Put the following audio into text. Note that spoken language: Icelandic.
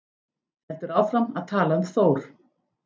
Heldur áfram að tala um Þór: